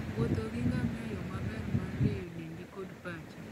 Wuotho gi ngamia yo maber mar rieyo dendi kod pachi.